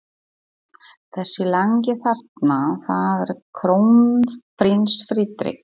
Þessi langi þarna- það er krónprins Friðrik.